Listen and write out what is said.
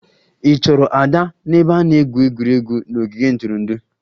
Ị chọrọ Ada n'ebe a na-egwu egwuregwu n'ogige ntụrụndụ?